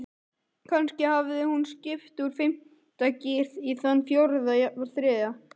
Kannski hafði hún skipt úr fimmta gír í þann fjórða, jafnvel þriðja.